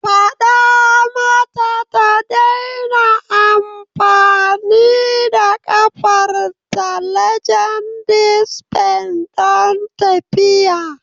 Fada mata ta daina amfani da kafarta (legedis benz) don tafiya.